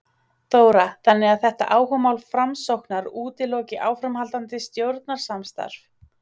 Þóra: Þannig að þetta áhugamál Framsóknar útiloki áframhaldandi stjórnarsamstarf?